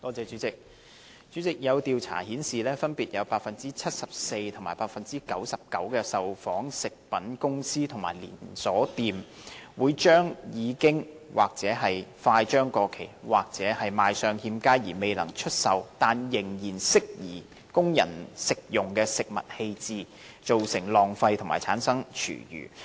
主席，有調查顯示，分別有百分之七十四及百分之九十九的受訪食品公司和連鎖式便利店，把已經或快將過期或賣相欠佳因而未能出售，但仍適宜供人食用的食物丟棄，造成浪費和產生廚餘。